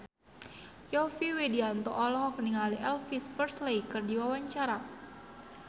Yovie Widianto olohok ningali Elvis Presley keur diwawancara